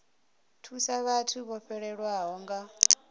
thusa vhathu vho fhelelwaho nga